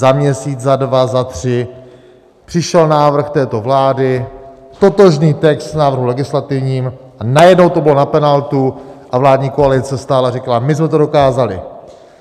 Za měsíc, za dva, za tři přišel návrh této vlády, totožný text v návrhu legislativním, a najednou to bylo na penaltu a vládní koalice stála a říkala: My jsme to dokázali.